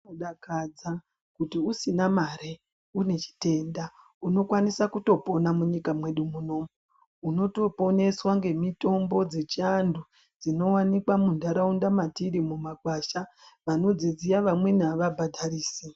Zvinodakadza kuti usina mare une chitenda unokwanisa kutopona munyika mwedu munomu unotoponeswa nemitombo dzedu dzechiantu dzinowanikwa mundaraunda matiri mumakwasha vanodziziya vamweni ava bhadharisi.